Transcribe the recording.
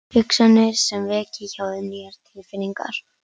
Hugsanir sem veki hjá þeim nýjar tilfinningar.